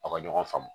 A ka ɲɔgɔn faamu